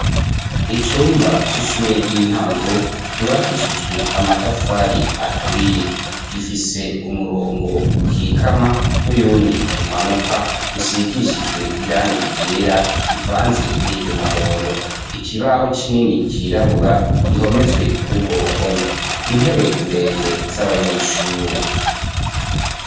Icumba c'ishure ry'intango ryubakishijwe amatafari aturiye gifise umurongo ukikama n'uyundi umanuka usigishijwe iranga ryera rivanze n'iryo umuhondo ikibaho c'inini cirabura gihomeswe k'urwo ruhome intebe nde ende z'abanyishure.